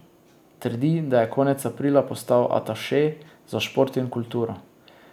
Trdi, da je konec aprila postal ataše za šport in kulturo.